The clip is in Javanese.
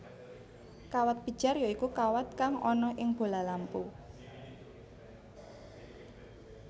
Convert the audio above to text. Kawat pijar ya iku kawat kang ana ing bola lampu